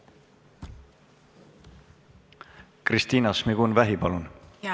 Kristina Šmigun-Vähi, palun!